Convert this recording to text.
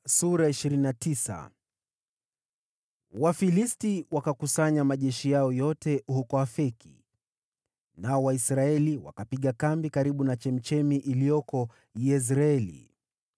Wafilisti wakakusanya majeshi yao yote huko Afeki, nao Waisraeli wakapiga kambi karibu na chemchemi iliyoko Yezreeli.